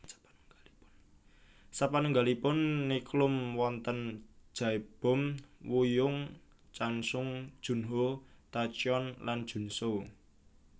Sapanunggalipun Nichkhun wonten Jaebom Wooyoung Chansung Junho Tacyeon lan JunSu